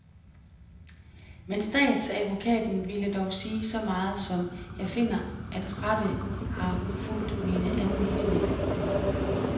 Men statsadvokaten ville dog sige så meget som, jeg finder, at retten har fulgt mine anvisninger.